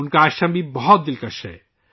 ان کا آشرم بھی بہت پرکشش ہے